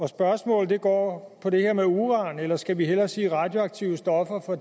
spørgsmålet går på det her med uran eller skal vi hellere sige radioaktive stoffer for